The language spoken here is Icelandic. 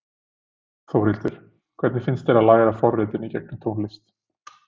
Þórhildur: Hvernig finnst þér að læra forritun í gegnum tónlist?